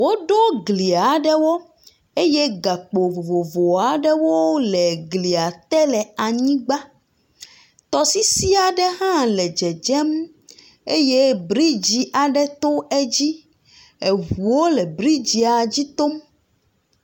Woɖo gli aɖewo eye gakpo vovovo aɖewo le glia te le anyigba. Tɔsisi aɖe hã le dzedzem eye bridzi aɖe to dzi. Ŋuwo le bridzia dzi tom.